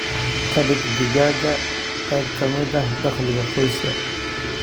Ka dhig digaaggaaga qayb ka mid ah dakhliga qoyska.